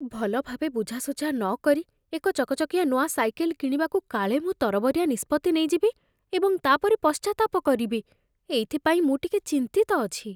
ଭଲଭାବେ ବୁଝାସୁଝା ନକରି ଏକ ଚକଚକିଆ ନୂଆ ସାଇକେଲ କିଣିବାକୁ କାଳେ ମୁଁ ତରବରିଆ ନିଷ୍ପତ୍ତି ନେଇଯିବି ଏବଂ ତା ପରେ ପଶ୍ଚାତାପ କରିବି, ଏଇଥିପାଇଁ ମୁଁ ଟିକେ ଚିନ୍ତିତ ଅଛି।